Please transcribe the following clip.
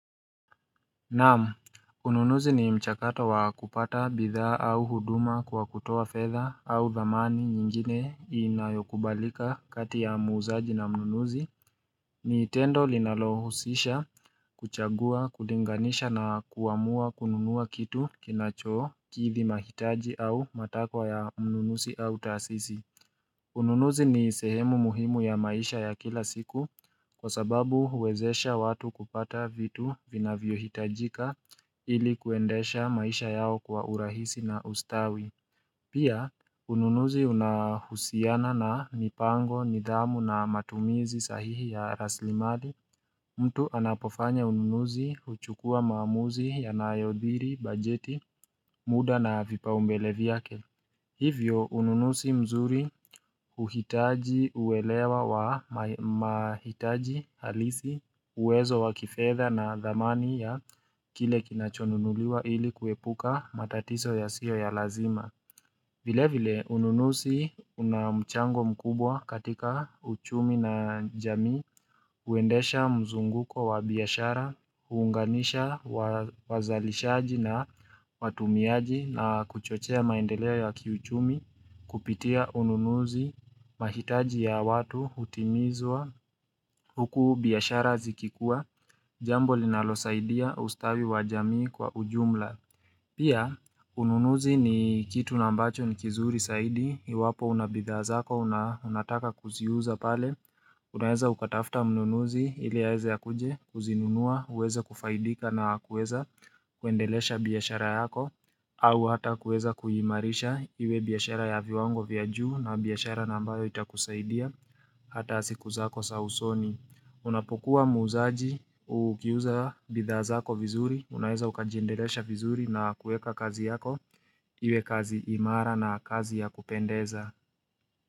Naam, ununuzi ni mchakato wa kupata bidhaa au huduma kwa kutoa fedha au dhamani nyingine inayokubalika kati ya muuzaji na mnunuzi ni tendo linalohusisha kuchagua, kulinganisha na kuamua kununua kitu kinachokithi mahitaji au matakwa ya mnunuzi au taasisi Ununuzi ni sehemu muhimu ya maisha ya kila siku kwa sababu huwezesha watu kupata vitu vinavyohitajika ili kuendesha maisha yao kwa urahisi na ustawi. Pia, ununuzi unahusiana na mipango, nidhamu na matumizi sahihi ya rasli mali. Mtu anapofanya ununuzi huchukua maamuzi yanayodhiri, bajeti, muda na vipau mbele vyake. Hivyo, ununuzi mzuri huhitaji uwelewa wa mahitaji halisi uwezo wa kifedha na dhamani ya kile kinachonunuliwa ili kuepuka matatizo yasiyo ya lazima. Vile vile, ununuzi una mchango mkubwa katika uchumi na jamii, huendesha mzunguko wa biashara, huunganisha wazalishaji na watumiaji na kuchochea maendelea ya kiuchumi, kupitia ununuzi, mahitaji ya watu, hutimizwa, huku biashara zikikua, jambo linalosaidia ustawi wa jamii kwa ujumla. Pia, ununuzi ni kitu na ambacho ni kizuri saidi, iwapo unabidhaa zako, unataka kuziuza pale, unaweza ukatafuta mnunuzi ili aweze akuje, kuzinunua, uweze kufaidika na kuweza, kuendelesha biashara yako, au hata kuweza kuimarisha iwe biashara ya viwango vya juu na biashara na ambayo itakusaidia, hata siku zako za usoni. Unapokua muuzaji ukiuza bidhaa zako vizuri Unaweza ukajindelesha vizuri na kuweka kazi yako Iwe kazi imara na kazi ya kupendeza.